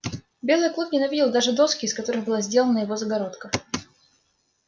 белый клык ненавидел даже доски из которых была сделана его загородка